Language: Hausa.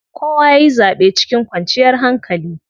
Kowa yayi zaɓen cikin kwanciyar hankali.